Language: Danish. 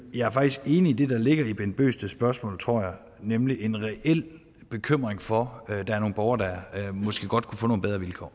jeg er faktisk enig i det der ligger i herre bent bøgsted spørgsmål tror jeg nemlig en reel bekymring for at der er nogle borgere der måske godt kunne få nogle bedre vilkår